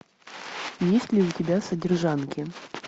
есть ли у тебя содержанки